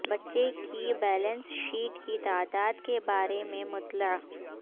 بچے کی balance sheet کی تعداد کے بارے میں مطلع